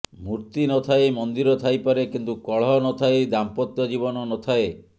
ମୂର୍ତ୍ତି ନ ଥାଇ ମନ୍ଦିର ଥାଇପାରେ କିନ୍ତୁ କଳହ ନ ଥାଇ ଦାମ୍ପତ୍ୟ ଜୀବନ ନ ଥାଏ